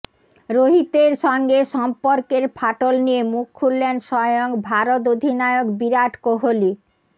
রোহিতের সঙ্গে সম্পর্কের ফাটল নিয়ে মুখ খুললেন স্বয়ং ভারত অধিনায়ক বিরাট কোহলি